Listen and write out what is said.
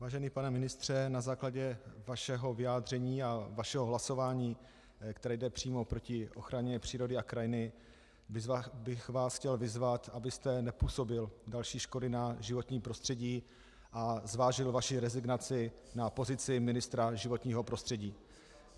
Vážený pane ministře, na základě vašeho vyjádření a vašeho hlasování, které jde přímo proti ochraně přírody a krajiny, bych vás chtěl vyzvat, abyste nepůsobil další škody na životním prostředí a zvážil svoji rezignaci na pozici ministra životního prostředí.